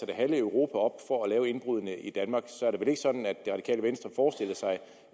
det halve europa for at lave indbruddene i danmark så er det vel ikke sådan at det radikale venstre forestiller sig